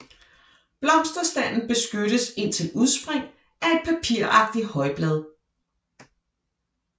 Blomsterstanden beskyttes indtil udspring af et papiragtigt højblad